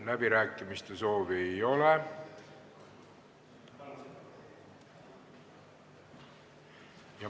Läbirääkimiste soovi ei ole.